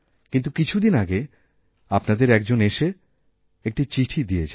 কিন্তু কিছু দিন আগে আপনাদের একজন এসে একটি চিঠি দিয়েযায়